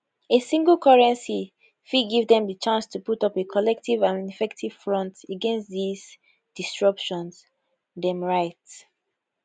a single currency fit give dem chance to put up a collective and effective front against dis disruptions dem write